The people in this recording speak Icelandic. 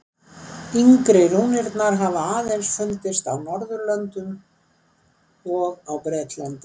Yngri rúnirnar hafa aðeins fundist á Norðurlöndum og á Bretlandi.